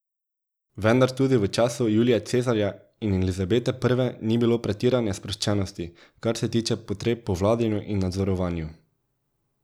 Vendar tudi v času Julija Cezarja ali Elizabete I ni bilo pretirane sproščenosti, kar se tiče potreb po vladanju in nadzorovanju.